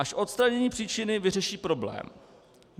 Až odstranění příčiny vyřeší problém.